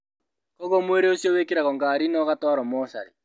Koguo mwĩrĩ ũcio wĩkĩragwo ngari na ũgatwarwo mocarĩ